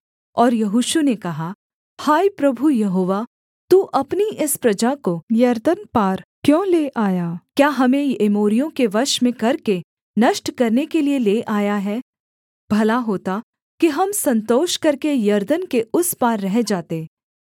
और यहोशू ने कहा हाय प्रभु यहोवा तू अपनी इस प्रजा को यरदन पार क्यों ले आया क्या हमें एमोरियों के वश में करके नष्ट करने के लिये ले आया है भला होता कि हम संतोष करके यरदन के उस पार रह जाते